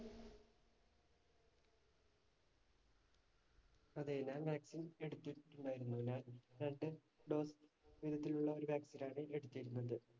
അതെ, ഞാൻ vaccine എടുത്തിട്ടുണ്ടായിരുന്നു. വിധത്തിലുള്ള vaccine ആണ് എടുത്തിരുന്നത്.